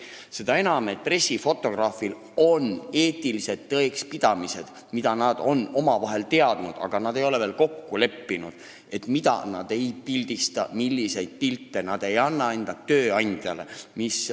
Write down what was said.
Seda enam, et pressifotograafidel on eetilised tõekspidamised, mida nad on alati teadnud, aga milles nad ei ole veel omavahel kokku leppinud: mida nad ei pildista, milliseid pilte nad ei anna enda tööandjale.